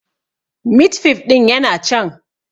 Mit fif ɗin yana can